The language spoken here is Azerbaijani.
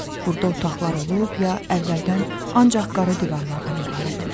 Burda otaqlar olub ya əvvəldən ancaq qara divarlardan ibarətmiş.